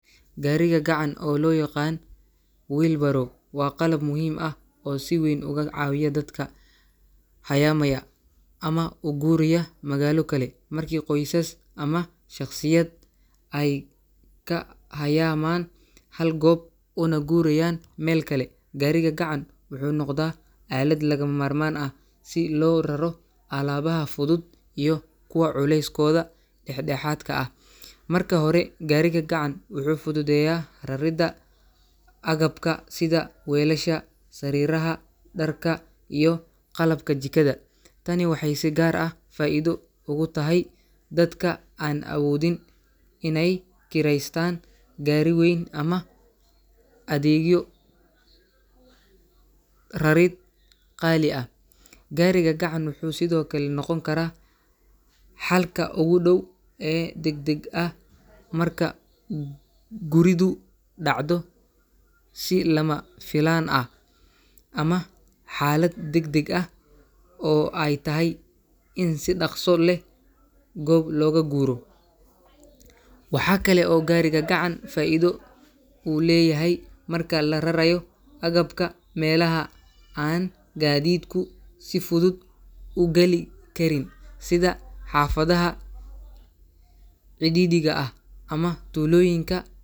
Gaariga gacan, oo loo yaqaan wheelbarrow, waa qalab muhiim ah oo si weyn uga caawiya dadka hayaamaya ama u guuraya magaalo kale. Markii qoysas ama shaqsiyaad ay ka hayaamaan hal goob una guurayaan meel kale, gaariga gacan wuxuu noqdaa aalad lagama maarmaan ah si loo raro alaabaha fudud iyo kuwa culeyskooda dhexdhexaadka ah. Marka hore, gaariga gacan wuxuu fududeeyaa raridda agabka sida weelasha, sariiraha, dharka, iyo qalabka jikada. Tani waxay si gaar ah faa’iido ugu tahay dadka aan awoodin inay kireystaan gaari weyn ama adeegyo rarid qaali ah. Gaariga gacan wuxuu sidoo kale noqon karaa xalka ugu dhow ee degdeg ah marka guridu dhacdo si lama filaan ah ama xaalad degdeg ah oo ay tahay in si dhaqso leh goob looga guuro. Waxaa kale oo gaariga gacan faa’iido u leeyahay marka la rarayo agabka meelaha aan gaadiidku si fudud u geli karin, sida xaafadaha cidhiidhiga ah ama tuulooyinka.